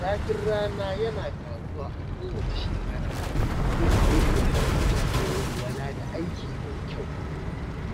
Zafin rana yana ƙaruwa a kowace shekara, inda yake hana mutane walwala da aiki mai kyau.